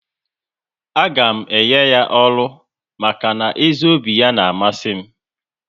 A ga m enye ya ọrụ maka na ezi obi ya n'amasi m